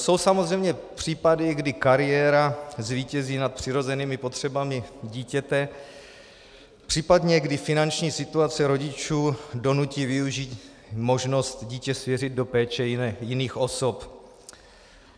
Jsou samozřejmě případy, kdy kariéra zvítězí nad přirozenými potřebami dítěte, případně kdy finanční situace rodičů donutí využít možnost dítě svěřit do péče jiných osob.